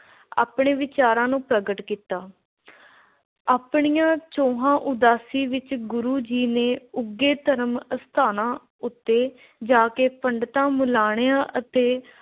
ਆਪਣੇ ਵਿਚਾਰਾਂ ਨੂੰ ਪ੍ਰਗਟ ਕੀਤਾ। ਆਪਣੀਆਂ ਚੋਹਾਂ ਉਦਾਸੀ ਵਿੱਚ ਗੁਰੂ ਜੀ ਨੇ ਉੱਘੇ ਧਰਮ ਅਸਥਾਨਾਂ ਉੱਤੇ ਜਾ ਕੇ ਪੰਡਿਤਾਂ, ਮਲਾਣਿਆਂ ਅਤੇ